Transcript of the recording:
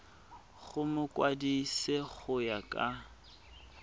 go mokwadise go ya ka